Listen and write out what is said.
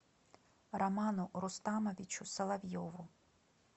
роману рустамовичу соловьеву